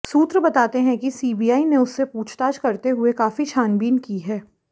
सूत्र बताते हैं कि सीबीआई ने उससे पूछताछ करते हुए काफी छानबीन की है